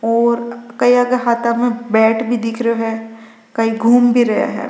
और कैया के हाथा में बेट भी दिखरो है कई घूम भी रहा है।